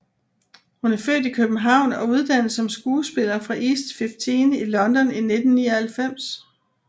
Hun er født i København og uddannet som skuespiller fra East 15 i London i 1999